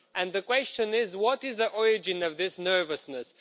The question is what is the origin of this nervousness?